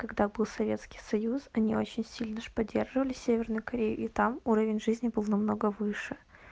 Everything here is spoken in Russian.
когда был советский союз они очень сильно же поддерживали северную корею и там уровень жизни был намного выше